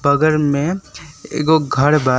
बगल में एगो घर बा।